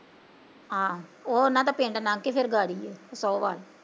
ਹਾਂ, ਓ ਓਹਨਾਂ ਦਾ ਪਿੰਡ ਨੰਗਕੇ ਫਿਰ ਗਾੜੀ ਏ